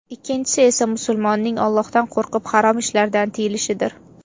Ikkinchisi esa musulmonning Allohdan qo‘rqib harom ishlardan tiyilishidir”.